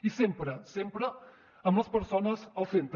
i sempre sempre amb les persones al centre